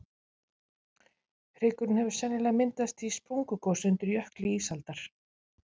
hryggurinn hefur sennilega myndast í sprungugosi undir jökli ísaldar